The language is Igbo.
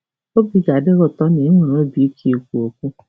Obi ga-adị gị um ụtọ na ị nwere obi ike ikwu okwu. ”